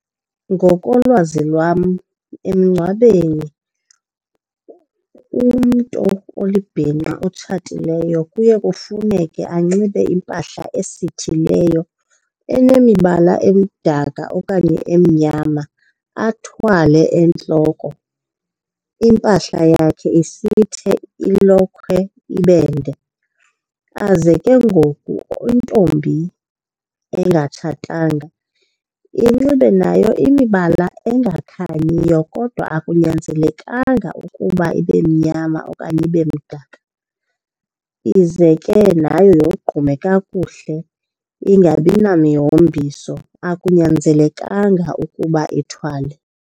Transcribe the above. Ngokolwazi lwam emngcwabeni umntu olibhinqa otshatileyo kuye kufuneke anxibe impahla esithileyo enemibala emdaka okanye emnyama. Athwale entloko, impahla yakhe isithe, ilokhwe ibe nde. Aze ke ngoku intombi engatshatanga inxibe nayo imibala engakhanyiyo kodwa akunyanzelekanga ukuba ibe mnyama okanye ibe mdaka. Ize ke nayo yoqgume kakuhle ingabi namihombiso, akunyanzelekanga ukuba ithwale.